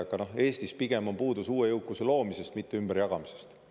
Aga Eestis pigem on puudus uue jõukuse loomisest, mitte ümberjagamisest.